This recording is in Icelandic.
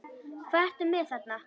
Hvað ertu með þarna?